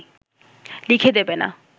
লিখে দেবে না